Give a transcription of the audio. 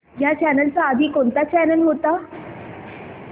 ह्या चॅनल च्या आधी कोणता चॅनल होता